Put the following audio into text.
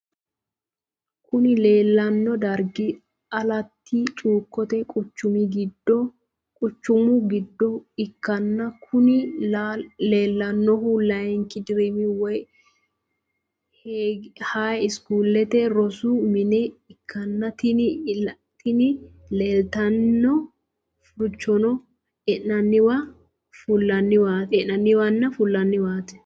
kuni lelano darig alati chukote quchumu gido ikana kuni lelanohuno layinik dirrim woy highschoolete rosu mine ikana tini lelitano furichono e'enaniwana fulaniwati.